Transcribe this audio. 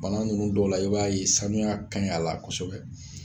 Bana ninnu dɔw la i b'a ye sanuya ka ɲi a la kosɛbɛ